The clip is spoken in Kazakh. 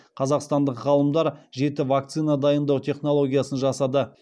қазақстандық ғалымдар жеті вакцина дайындау технологиясын жасады